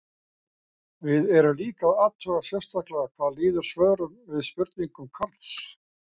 Við erum líka að athuga sérstaklega hvað líður svörum við spurningum Karls.